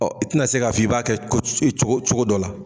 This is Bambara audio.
Ɔ i tina se k'a f'i b'a kɛ ko cogo cogo dɔ la